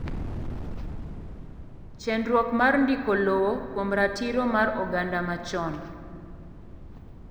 chendruok mar ndiko lowo kuom ratiro mar oganda machon